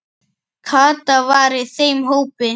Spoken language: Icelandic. Kata var í þeim hópi.